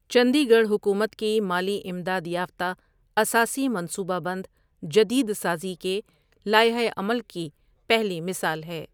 چندی گڑھ حکومت کی مالی امداد یافتہ اساسی منصوبہ بند جدید سازی کے لائحہ عمل کی پہلی مثال ہے۔